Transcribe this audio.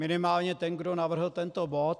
Minimálně ten, kdo navrhl tento bod.